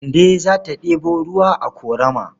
Kande za ta ɗebo ruwa a ƙorama.